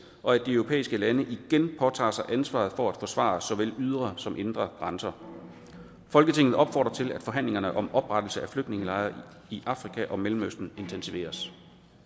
og at de europæiske lande igen påtager sig ansvaret for at forsvare såvel ydre som indre grænser folketinget opfordrer til at forhandlingerne om oprettelse af flygtningelejre i afrika og mellemøsten intensiveres